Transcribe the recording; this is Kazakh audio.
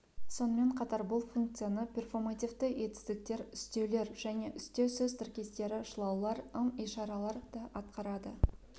сонымен қатар бұл функцияны перфомативті етістіктер үстеулер және үстеу сөз тіркестері шылаулар ым-ишаралар да атқарады